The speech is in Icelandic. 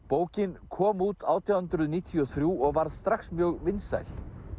bókin kom út átján hundruð níutíu og þrjú og varð strax mjög vinsæl